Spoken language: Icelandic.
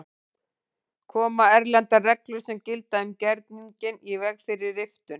Koma erlendar reglur sem gilda um gerninginn í veg fyrir riftun?